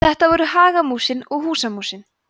þetta voru hagamúsin og húsamúsin